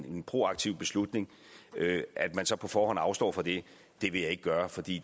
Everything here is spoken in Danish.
en proaktiv beslutning og at man så på forhånd afstår fra det det vil jeg ikke gøre for det